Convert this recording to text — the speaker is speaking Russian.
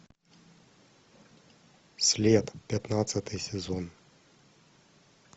след пятнадцатый сезон